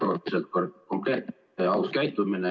Erakordselt konkreetne ja aus käitumine.